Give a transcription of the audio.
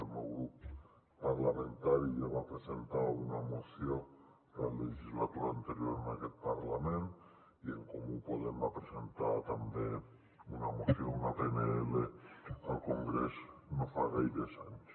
el meu grup parlamentari ja va presentar una moció la legislatura anterior en aquest parlament i en comú podem va presentar també una moció una pnl al congrés no fa gaires anys